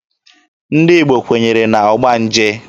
Ndị Igbo kwenyere na ọgbanje.